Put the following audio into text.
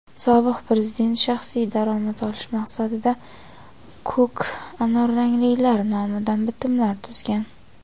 sobiq prezident shaxsiy daromad olish maqsadida "ko‘k-anorranglilar" nomidan bitimlar tuzgan.